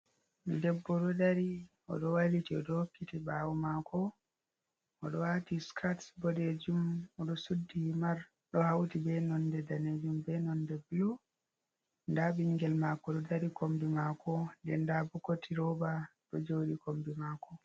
Debbo ɗo dari o ɗo wayliti o hokkiti ɓawo maako o ɗo waati skirts bodeejum o ɗo suddi himar ɗo hawti bee nonɗe daneejum bee nonɗe blue. Ndaa ɓinngel maako ɗo dari kommbi maako nden ndaa bookati rooba ɗo jooɗi kombi maako.